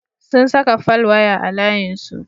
Sun saka folwaya a layinsu.